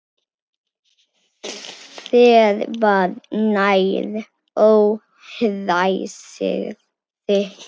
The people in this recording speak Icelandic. Þér var nær, óhræsið þitt.